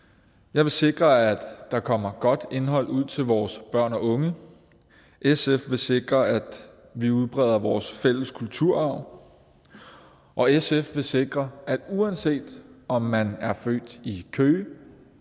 jeg vil sikre at der kommer godt indhold ud til vores børn og unge sf vil sikre at vi udbreder vores fælles kulturarv og sf vil sikre at uanset om man er født i køge